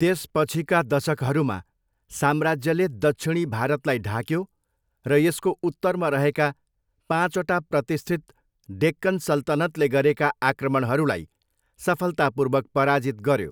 त्यसपछिका दशकहरूमा, साम्राज्यले दक्षिणी भारतलाई ढाक्यो र यसको उत्तरमा रहेका पाँचवटा प्रतिष्ठित डेक्कन सल्तनतले गरेका आक्रमणहरूलाई सफलतापूर्वक पराजित गऱ्यो।